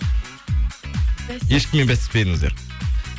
ешкіммен бәстеспедіңіздер